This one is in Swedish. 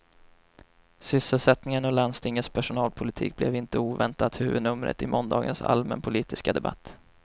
Sysselsättningen och landstingets personalpolitik blev inte oväntat huvudnumret i måndagens allmänpolitiska debatt.